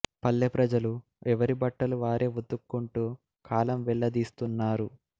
పల్లె ప్రజలు ఎవరి బట్టలు వారే వుతుక్కుంటూ కాలం వెళ్ల దీస్తున్నారు